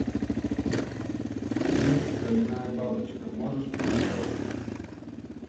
фильм стальная бабочка можешь показать